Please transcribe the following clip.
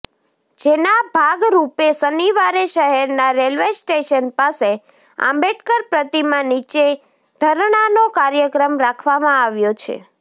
જેના ભાગરૃપે શનિવારે શહેરના રેલ્વે સ્ટેશન પાસે આંબેડકર પ્રતિમા નીચે ધરણાનો કાર્યક્રમ રાખવામાં આવ્યો છે